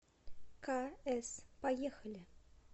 к с поехали